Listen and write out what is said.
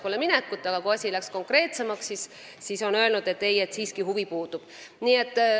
Nüüd, kui asi on läinud konkreetsemaks, ütlesid nad, et neil siiski huvi puudub.